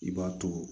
I b'a to